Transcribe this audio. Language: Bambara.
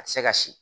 A tɛ se ka si